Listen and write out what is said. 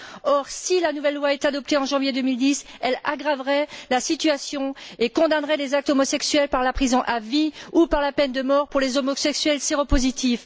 Or, si la nouvelle loi était adoptée en janvier 2010, elle aggraverait la situation et condamnerait les actes homosexuels par la prison à vie ou par la peine de mort pour les homosexuels séropositifs.